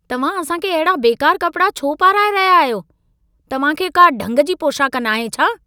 तव्हां असां खे अहिड़ा बेकार कपिड़ा छो पाराए रहिया आहियो? तव्हां खे का ढंग जी पोशाक नाहे छा?